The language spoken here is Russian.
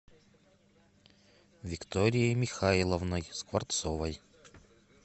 викторией михайловной скворцовой